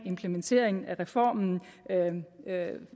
implementeringen af reformen